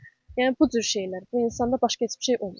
Yəni bu cür şeylər, bu insanda başqa heç bir şey olmayıb.